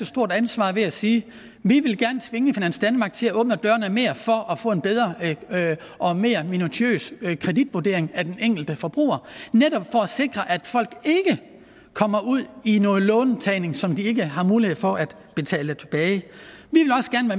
stort ansvar ved at sige vi vil gerne tvinge finans danmark til at åbne dørene mere for at få en bedre og mere minutiøs kreditvurdering af den enkelte forbruger netop for at sikre at folk ikke kommer ud i noget låntagning som de ikke har mulighed for at betale tilbage vi